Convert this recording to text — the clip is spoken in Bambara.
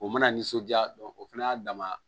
O mana nisɔndiya o fana y'a dama